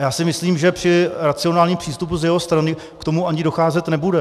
A já si myslím, že při racionálním přístupu z jeho strany k tomu ani docházet nebude.